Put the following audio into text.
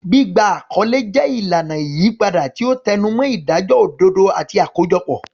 Gbígba àkọlé jẹ́ ìlànà ìyípadà, tí ó tẹnumọ́ ìdájọ́ òdodo àti àkójọpọ̀.